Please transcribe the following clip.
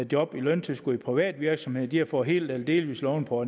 job med løntilskud i privat virksomhed der har fået hel eller delvis lovning på